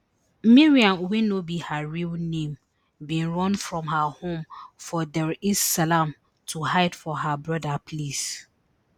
miriam wey no be her real name bin run from her home for dar es salaam to hide for her brother place